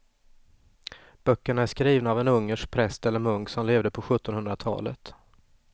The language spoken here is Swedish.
Böckerna är skrivna av en ungersk präst eller munk som levde på sjuttonhundratalet.